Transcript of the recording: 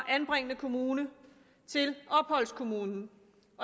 anbringende kommune til opholdskommunen